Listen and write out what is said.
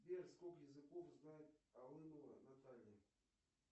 сбер сколько языков знает алымова наталья